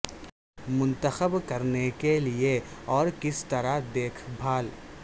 منتخب کرنے کے لئے اور کس طرح دیکھ بھال